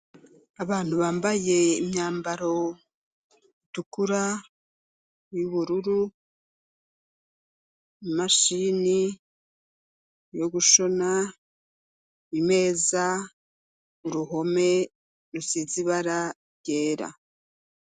Abantu bambaye imyambaro itukura, y'ubururu, imashini yo gushona , imeza, uruhome rusiz'ibara ryera.